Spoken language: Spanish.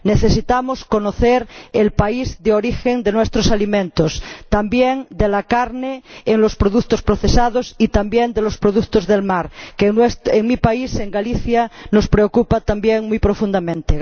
Necesitamos conocer el país de origen de nuestros alimentos, también de la carne en los productos procesados y también de los productos del mar, que en mi país, en Galicia, nos preocupa también muy profundamente.